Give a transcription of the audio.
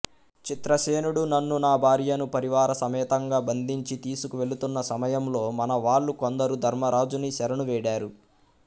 చిత్రసేనుడు నన్ను నా భార్యను పరివార సమేతంగా బంధించి తీసుకు వెళుతున్న సమయంలో మనవాళ్ళు కొందరు ధర్మరాజుని శరణు వేడారు